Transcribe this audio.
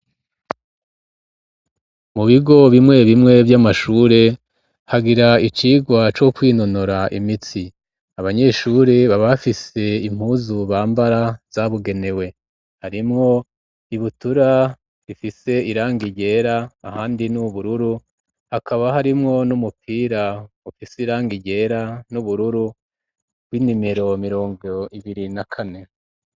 Mu bigo bimwe bimwe vy'amashure hagira icirwa co kwinonora imitsi abanyeshuri baba bafise impuzu bambara zabugenewe harimwo ibutura ifise irangi ryera ahandi n'ubururu hakaba harimwo n'umupira ufise irangi ryera n'ubururu bw'inimero mirongo ibiri na kane.